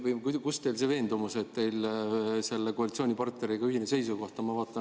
Kust tuleb teil see veendumus, et teil on koalitsioonipartneriga ühine seisukoht?